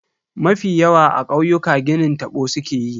Mafi yawa a kauyuka ginin tabo sukeyi.